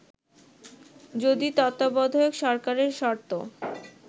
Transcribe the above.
যদি তত্ত্বাবধায়ক সরকারের শর্ত